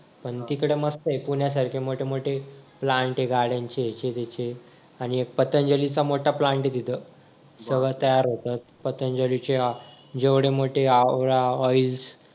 पण तिकडे मस्त आहे पुण्यासारखे मोठे मोठे plant आहे गाड्यांचे ह्याचे त्याचे आणि एक पतंजली चा मोठा plant आहे तिथं सगळं तयार होत पतंजलीच्या जेवढे मोठे आवळा oils